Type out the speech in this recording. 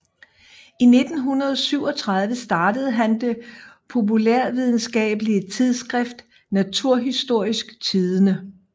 I 1937 startede han det populærvidenskabelige tidskrift Naturhistorisk Tidende